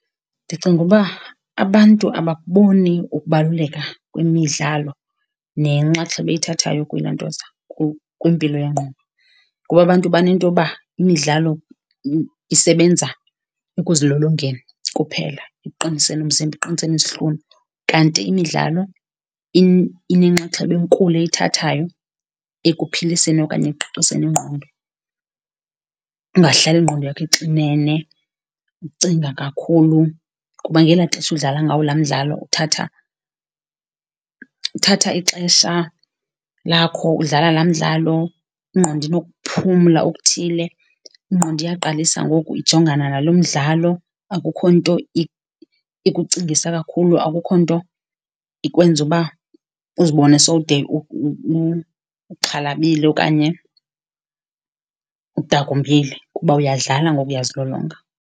Ndicinga uba abantu abakuboni ukubaluleka kwemidlalo nenxaxheba eyithathayo kwilantoza, kwimpilo yengqondo. Kuba abantu banentoba imidlalo isebenza ekuzilolongeni kuphela, ekuqiniseni umzimba, ekuqiniseni izihlunu, kanti imidlalo inenxaxheba enkulu eyithathayo ekuphiliseni okanye ekuqiqiseni ingqondo, ungahlali ingqondo yakho ixinene, ucinga kakhulu. Kuba ngelaa xesha udlala ngawo la mdlalo uthatha, uthatha ixesha lakho udlala laa mdlalo, ingqondo inokuphumla okuthile, ingqondo iyaqalisa ngoku ijongana nalo mdlalo akukho nto ikucingisa kakhulu, akukho nto ikwenza uba uzibone sowude uxhalabile okanye udakumbile kuba uyadlala ngoku uyazilolonga.